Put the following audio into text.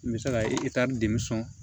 N bɛ se ka de sɔn